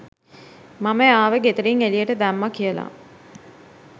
මම එයාව ගෙදරින් එළියට දැම්මා කියලා.